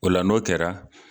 O la n'o kɛra